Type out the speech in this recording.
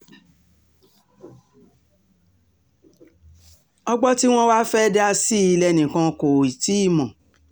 ọgbọ́n tí um wọ́n wàá fẹ́ẹ́ dá sí i lẹ́nìkan kò um tí ì mọ̀